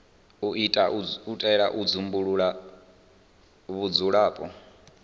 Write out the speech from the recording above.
u itela u dzumbulula vhudzulapo